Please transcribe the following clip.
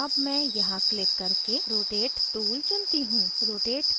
और अब मैं यहाँ क्लिक करके rotate tool चुनती choose